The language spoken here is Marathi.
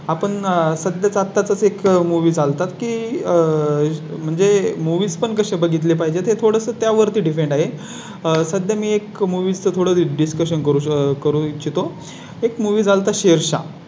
आपण आह सध्या आता Check मूव्ही चालतात की आह म्हणजे movies पण कसे बघितले पाहिजे ते थोडं त्या वरती Depend आहे. सध्या मी एक Movies थोडं Discussion करू शक करू इच्छि तो एक Movies झाला शेषा